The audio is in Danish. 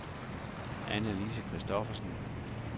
Annalise Kristoffersen